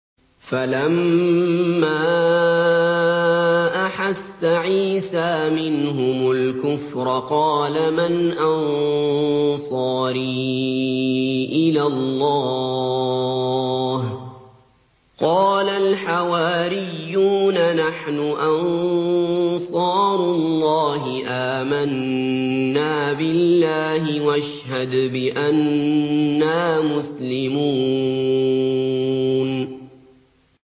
۞ فَلَمَّا أَحَسَّ عِيسَىٰ مِنْهُمُ الْكُفْرَ قَالَ مَنْ أَنصَارِي إِلَى اللَّهِ ۖ قَالَ الْحَوَارِيُّونَ نَحْنُ أَنصَارُ اللَّهِ آمَنَّا بِاللَّهِ وَاشْهَدْ بِأَنَّا مُسْلِمُونَ